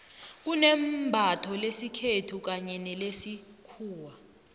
kunembatho lesikhethu kanye nelesikhuwa